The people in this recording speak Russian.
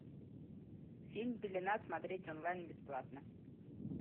фильм пелена смотреть онлайн бесплатно